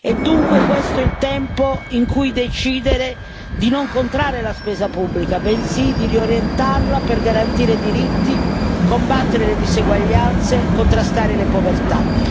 È dunque questo il tempo in cui decidere di non contrarre la spesa pubblica, bensì di riorientarla per garantire diritti, combattere le diseguaglianze, contrastare le povertà.